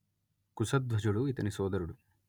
కుశధ్వజుడు ఇతని సోదరుడు